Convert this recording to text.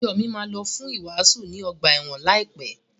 Ìjo mi máa lọ fún ìwàásù ní ọgbà ẹ̀wọ̀n láìpẹ́.